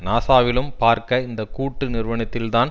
நாசாவிலும் பார்க்க இந்த கூட்டு நிறுவனத்தில் தான்